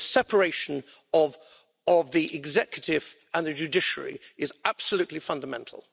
The separation of the executive and the judiciary is absolutely fundamental.